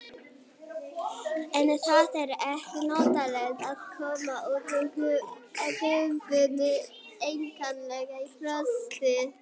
En það er ekki notalegt að koma út úr gufunni einkanlega í frosti.